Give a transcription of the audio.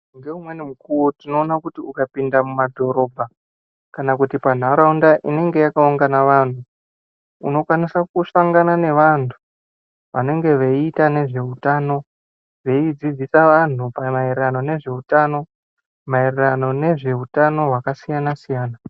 Ngeumweni mukuwo tinoona kuti ukapinda mumadhorobha ,kana kuti panharaunda inenge yakaungana vanhu, unokwanisa kusangana nevantu vanenge veiita nezveutano, veidzidzisa vanhu pamaererano nezveutano, maererano nezveutano hwakasiyana-siyana.